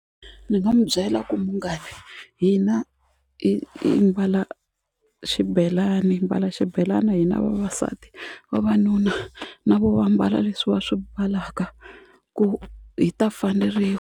Ni nga n'wu byela ku munghani hina mbala xibelani hi mbala xibelana hina vavasati vavanuna na voho va ambala leswiwa swi mbalaka ku hi ta faneriwa.